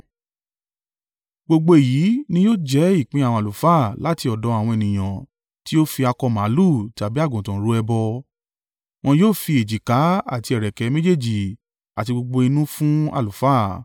Gbogbo èyí ni yóò jẹ́ ìpín àwọn àlùfáà láti ọ̀dọ̀ àwọn ènìyàn tí ó fi akọ màlúù tàbí àgùntàn rú ẹbọ; wọn yóò fi èjìká àti ẹ̀rẹ̀kẹ́ méjèèjì àti gbogbo inú fún àlùfáà.